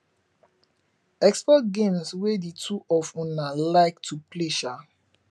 explore games wey di two of una like to play um